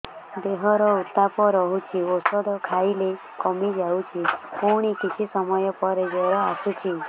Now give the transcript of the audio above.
ଦେହର ଉତ୍ତାପ ରହୁଛି ଔଷଧ ଖାଇଲେ କମିଯାଉଛି ପୁଣି କିଛି ସମୟ ପରେ ଜ୍ୱର ଆସୁଛି